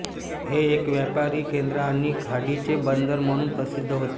हे एक व्यापारी केंद्र आणि खाडीचे बंदर म्हणून प्रसिद्ध होते